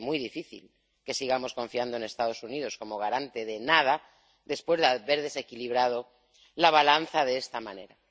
Es muy difícil que sigamos confiando en los Estados Unidos como garantes de nada después de haber desequilibrado la balanza de esta manera.